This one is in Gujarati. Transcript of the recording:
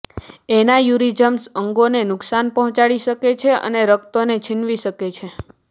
એના્યુરિઝમ્સ અંગોને નુકસાન પહોંચાડી શકે છે અને રક્તને છીનવી શકે છે